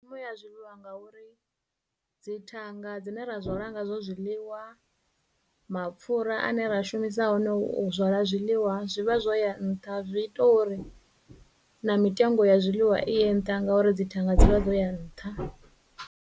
Ya zwiḽiwa ngauri dzithanga dzine ra zwala ngazwo zwiḽiwa, mapfhura ane ra shumisa one u zwala zwiḽiwa zwi vha zwo ya nṱha, zwi ita uri na mitengo ya zwiḽiwa i ye nṱha ngauri dzithanga dzi vha dzo ya nṱha.